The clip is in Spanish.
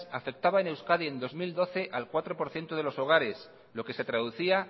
afectaba en euskadi en dos mil doce al cuatro por ciento de los hogares lo que se traducía